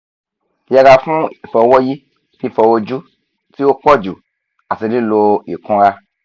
yẹra fun ifọwọyi fifọ oju ti o pọju ati lilo ikunra